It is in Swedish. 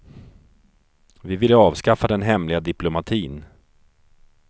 Vi ville avskaffa den hemliga diplomatin.